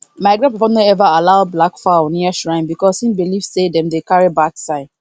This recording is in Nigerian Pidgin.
my grandpapa no ever allow black fowl near shrine because e believe say dem dey carry bad sign